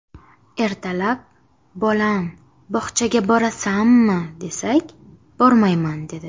Ertalab, bolam, bog‘chaga borasanmi desak, bormayman dedi.